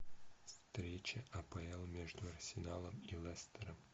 встреча апл между арсеналом и лестером